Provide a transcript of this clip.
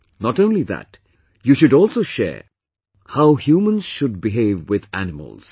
Not only that, you should also share how humans should behave with animals